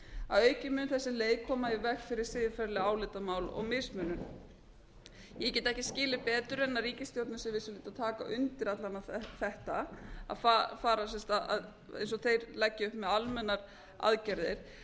að auki mun þessi leið koma í veg fyrir siðferðileg álitamál og mismunum ég get ekki skilið betur en ríkisstjórnin sé að vissuleyti að taka undir alla vega þetta að fara sem sagt eins og þeir leggja upp með almennar aðgerðir